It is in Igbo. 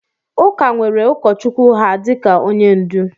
Ụka nwere ụkọchukwu ha dịka onye ndu